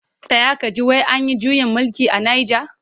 Tsaya ka ji! wai an yi juyin mulki a Nijar.